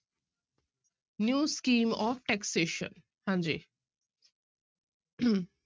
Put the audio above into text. New scheme of taxation ਹਾਂਜੀ